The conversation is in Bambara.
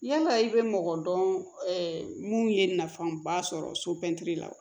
Yala i bɛ mɔgɔ dɔn mun ye nafaba sɔrɔ so bɛ ntɛli la wa